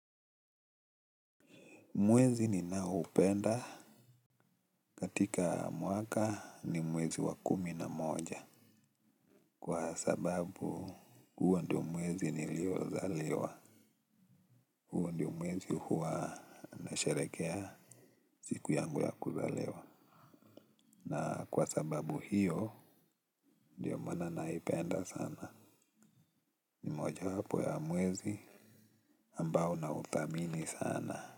Mwezi ni naupenda katika mwaka ni mwezi wa kumi na moja. Kwa sababu huo ndio mwezi niliozaliwa. Huo ndio mwezi huo nashelekea siku yangu ya kuzaliwa. Na kwa sababu hiyo ndiyo mana naipenda sana. Ni moja wapo ya mwezi ambao na utamini sana.